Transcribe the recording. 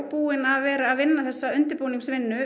búin að vera vinna þessa undirbúningsvinnu